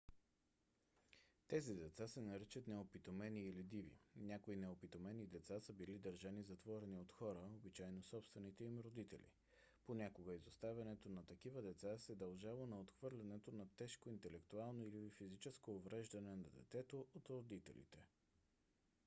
тези деца се наричат неопитомени или диви. някои неопитомени деца са били държани затворени от хора обичайно собствените им родители; понякога изоставянето на такива деца се дължало на отхвърляне на тежко интелектуално или физическо увреждане на детето от родителите